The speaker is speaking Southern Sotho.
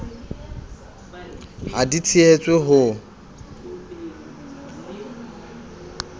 ha di tshehe tswe ho